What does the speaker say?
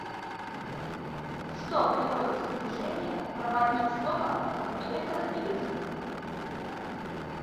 что приводит в движение проводник с током в электродвигателе